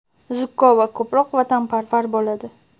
zukko va ko‘proq vatanparvar bo‘ladi.